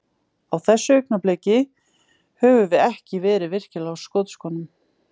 Á þessu augnabliki, höfum við ekki verið virkilega á skotskónum.